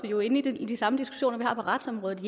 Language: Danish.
jo inde i de samme diskussioner vi har på retsområdet